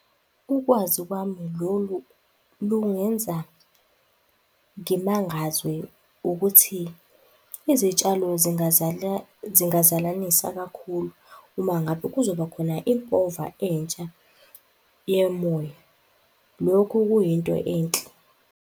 Ukwazi kwami lolu lungenza ngimangazwe ukuthi izitshalo zingazalanisa kakhulu uma ngabe kuzoba khona impova entsha yemoya. Lokhu kuyinto enhle.